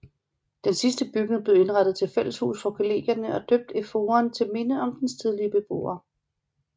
Den sidste bygning blev indrettet til fælleshus for Kollegierne og døbt Eforen til minde om dens tidligere beboer